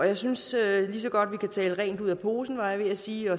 jeg synes lige så godt vi kan tale rent ud af posen var jeg ved at sige